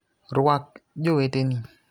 Rwak joweteni.